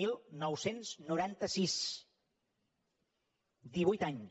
dinou noranta sis divuit anys